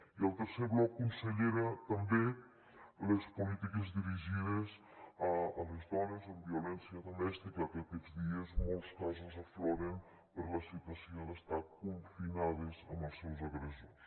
i el tercer bloc consellera també les polítiques dirigides a les dones amb violència domèstica que aquests dies molts casos afloren per la situació d’estar confinades amb els seus agressors